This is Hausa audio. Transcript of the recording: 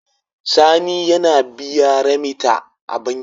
Sani ya biya remita a banki